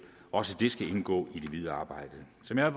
også det skal indgå i det videre arbejde som jeg